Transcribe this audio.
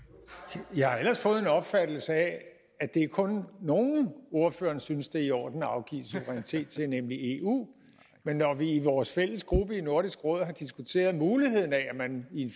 tak jeg har ellers fået en opfattelse af at det kun er nogle ordføreren synes det er i orden at afgive suverænitet til nemlig eu men når vi i vores fælles gruppe i nordisk råd har diskuteret muligheden af at man i en